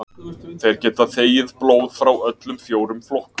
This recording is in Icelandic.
Þeir geta þegið blóð frá öllum fjórum flokkum.